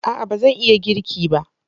A'a! ba zan iya girki ba.